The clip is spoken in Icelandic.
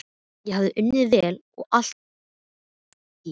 Ég hafði unnið vel og allt var í góðum gír.